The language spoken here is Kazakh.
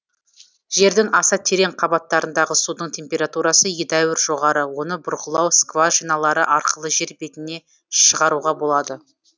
жердің аса терең қабаттарындағы судың температурасы едәуір жоғары оны бұрғылау скважиналары арқылы жер бетіне шығаруға болады